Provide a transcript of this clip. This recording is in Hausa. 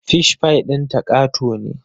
Fish pie ɗinta ƙato ne